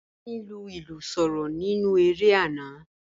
Akin lu ilu soro ninu ere ana